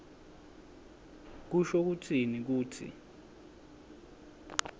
kusho kutsini kutsi